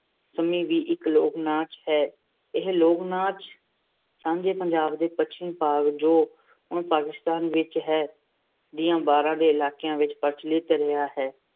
ਸੰਮੀ ਵੀ ਇੱਕ ਲੋਕ ਨਾਚ ਹੈ। ਇਹ ਲੋਕ-ਨਾਚ ਸਾਂਝੇ ਪੰਜਾਬ ਦੇ ਪੱਛਮੀ ਭਾਗ, ਜੋ ਹੁਣ ਪਾਕਿਸਤਾਨ ਵਿੱਚ ਹੈ, ਦੀਆਂ ਬਾਰਾਂ ਦੇ ਇਲਾਕਿਆਂ ਵਿੱਚ ਪ੍ਰਚਲਿਤ ਰਿਹਾ ਹੈ।